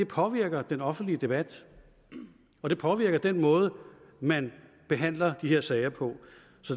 påvirker den offentlige debat og det påvirker den måde man behandler de her sager på